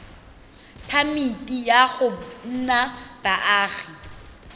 phamiti ya go nna baagi